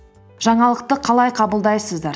жаңалықты қалай қабылдайсыздар